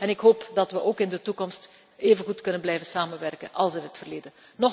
Ik hoop dat we ook in de toekomst even goed kunnen blijven samenwerken als in het verleden.